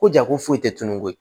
Ko jako foyi tɛ tunun koyi